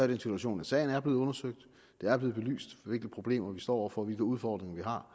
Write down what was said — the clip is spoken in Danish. den situation at sagen er blevet undersøgt og det er blevet belyst hvilke problemer vi står over for og hvilke udfordringer